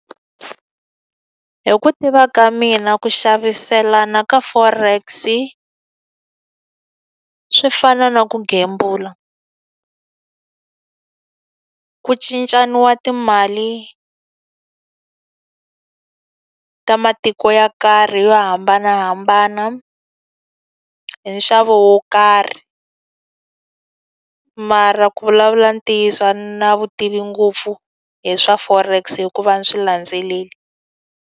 Hi ku tiva ka mina ku xaviselana ka forex-i, swi fana na ku gembula. Ku cincaniwa timali ta matiko yo karhi yo hambanahambana hi nxavo wo karhi. Mara ku vulavula ntiyiso a ni na vutivi ngopfu hi swa forex hikuva ni swi landzeleli.